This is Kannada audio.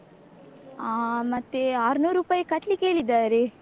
ಹ ಮತ್ತೆ ಆರ್ನೂರುಪೈ ಕಟ್ಲಿಕ್ಹೇಳಿದ್ದಾರೆ.